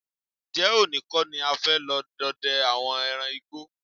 Ǹjé̩ òní kó̩ ni a fé̩ lo̩ do̩de̩ àwo̩n e̩ran igbó?